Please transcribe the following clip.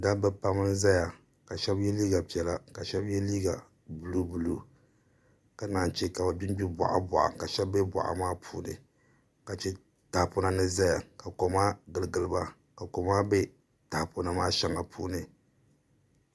Dabba pam n ʒɛya ka shab yɛ liiga piɛla ka shab yɛ liiga buluu buluu ka naan chɛ ka bi gbingbi boɣa boɣa ka shab bɛ boɣa maa puuni ka chɛ tahapona ni ʒɛya ka koma giligili ba ka koma bɛ tahapona maa shɛli puuni